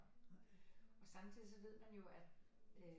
Og samtidigt så ved man jo at øh